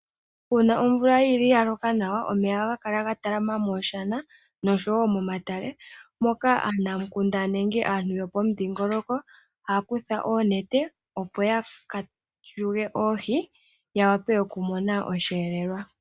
Una omvula yili yaloka nawa omeya ohaga kala ga talama mooshana noshowo momatale moka aanamukunda nenge aantu yopomudhingoloko haya kutha oonete opo yaka yulu oohi, ya wape oku mona osheelelwa.